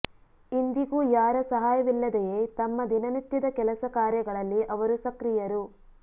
ಇಂದಿಗೂ ಯಾರ ಸಹಾಯವಿಲ್ಲದೆಯೇ ತಮ್ಮ ದಿನನಿತ್ಯದ ಕೆಲಸ ಕಾರ್ಯಗಳಲ್ಲಿ ಅವರು ಸಕ್ರಿಯರು